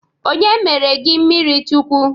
Onye mere gị mmiri Chukwu?